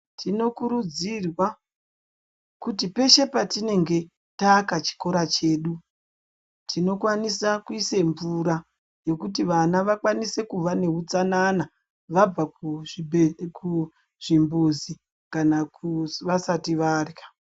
Tinokurudzirwa kuti peshe patinenge taaka chikora chedu tinokwanisa kuisa mvura yekuti vana vakwanise kuva nehutsanana vabva kuzvimbuzi kana vasati varya.